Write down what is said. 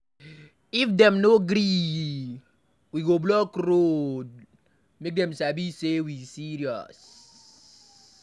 If dem no gree, we go block road make dem sabi say e serious.